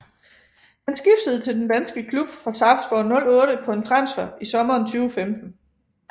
Han skiftede til den danske klub fra Sarpsborg 08 på en transfer i sommeren 2015